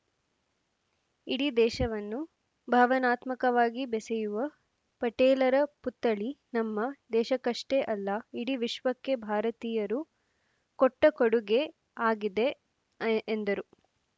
ಇಡೀ ದೇಶವನ್ನು ಭಾವನಾತ್ಮಕವಾಗಿ ಬೆಸೆಯುವ ಪಟೇಲರ ಪುತ್ಥಳಿ ನಮ್ಮ ದೇಶಕ್ಕಷ್ಟೇ ಅಲ್ಲ ಇಡೀ ವಿಶ್ವಕ್ಕೆ ಭಾರತೀಯರು ಕೊಟ್ಟ ಕೊಡುಗೆ ಆಗಿದೆ ಎ ಎಂದರು